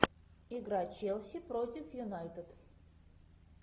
игра челси против юнайтед